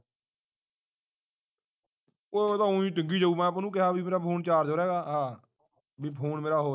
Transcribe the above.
ਓਏ ਉਹ ਹੀ ਡਿੱਗੀ ਜਾਉ ਮੈਂ ਉਹਨੂੰ ਕਿਹਾ ਵੀ ਮੇਰਾ phone charge ਹੋ ਰਿਹਾ ਹੈਰਾ ਬਈ phone ਮੇਰਾ ਹੋ ਹੈ